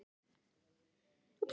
Marja, hvar er dótið mitt?